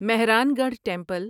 Mehran Garh temple